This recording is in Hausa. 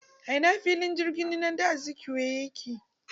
A ina filin jirgin saman nnamdi Azikiwe yake?